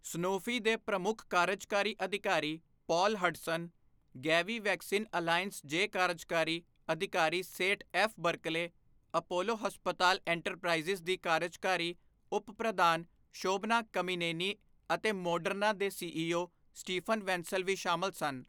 Sanofi ਦੇ ਪ੍ਰਮੁੱਖ ਕਾਰਜਕਾਰੀ ਅਧਿਕਾਰੀ Paul Hudson, Gavi Vaccine Alliance ਜੇ ਕਾਰਜਕਾਰੀ ਅਧਿਕਾਰੀ ਸੇਠ ਐਫ ਬਰਕਲੇ, ਅਪੋਲੋ ਹਸਪਤਾਲ ਇੰਟਰਪ੍ਰਾਈਜ਼ ਦੀ ਕਾਰਜਕਾਰੀ ਉਪ ਪ੍ਰਧਾਨ ਸ਼ੋਭਨਾ ਕਮੀਨੇਨੀ ਅਤੇ ਮੋਡਰਨਾ ਦੇ ਸੀਈਓ ਸਟੀਫਨ ਵੈਂਸਲ ਵੀ ਸ਼ਾਮਿਲ ਸਨ।